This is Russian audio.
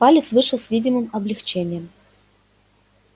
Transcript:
палец вышел с видимым облегчением